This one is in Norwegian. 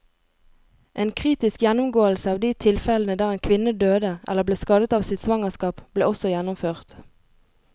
En kritisk gjennomgåelse av de tilfellene der en kvinne døde eller ble skadet av sitt svangerskap, ble også gjennomført.